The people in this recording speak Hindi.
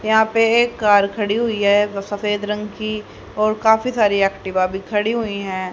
यहां पे एक कार खड़ी हुई है जो सफेद रंग की और काफी सारे एक्टिव आगे खड़ी हुई हैं।